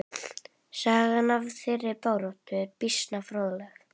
Sagan af þeirri baráttu er býsna fróðleg.